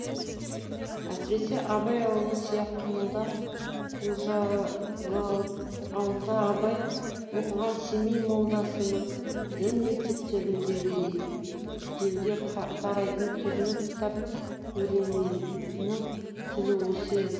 әсіресе абай ауылы сияқты молда қожалы ауылда абай оқыған семей молдасының дін мектептеріндегі елге тарайтын түрлі кітап өлеңінің тілі осы еді